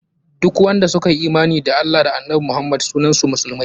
Duk wanda suka yi imani da Allah da annabi Muhammad sunan su musulmai.